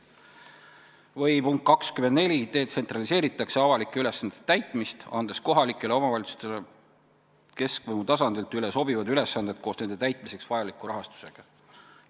Või punkt 24: detsentraliseeritakse avalike ülesannete täitmist, andes kohalikele omavalitsustele keskvõimu tasandilt üle sobivad ülesanded koos nende täitmiseks vajaliku rahastusega.